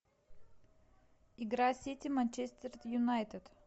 игра сити манчестер юнайтед